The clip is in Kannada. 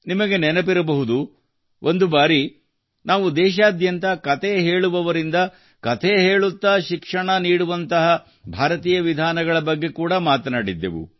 ನಿಮಗೆ ನೆನಪಿರಬಹುದು ಒಂದು ಬಾರಿ ನಾವು ದೇಶಾದ್ಯಂತ ಕತೆ ಹೇಳುವವರಿಂದ ಕಥೆ ಹೇಳುತ್ತಾ ಶಿಕ್ಷಣ ನೀಡುವಂತಹ ಭಾರತೀಯ ವಿಧಾನಗಳ ಬಗ್ಗೆ ಕೂಡಾ ಮಾತನಾಡಿದ್ದೆವು